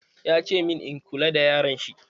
Ya ce min, in kula da yaron shi!